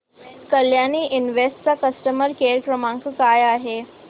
Kalyani invest चा customer care क्रमांक काय आहे